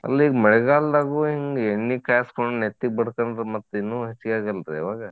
ಅಲ್ಲ ಈಗ ಮಳಿಗಾಲ್ದಾಗು ಹಿಂಗ್ ಎಣ್ಣಿ ಕಾಸ್ಕೊಂಡ್ ನೆತ್ತಿಗ್ ಬಡ್ಕೊಂಡ್ರ ಮತ್ತ್ ಇನ್ನು ಹೆಚ್ಚಗಿ ಆಗಲ್ರೀ ಅವಾಗ?